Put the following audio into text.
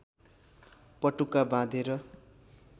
पटुका बाँधेर